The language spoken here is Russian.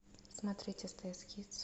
смотреть стс кидс